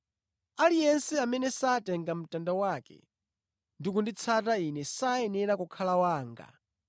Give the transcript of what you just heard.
Aliyense amene satenga mtanda wake ndi kunditsata Ine sayenera kukhala wanga.